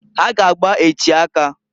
Ha g' agba echi aka.